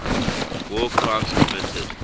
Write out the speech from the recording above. war crimes committed